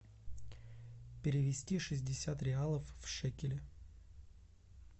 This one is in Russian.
перевести шестьдесят реалов в шекели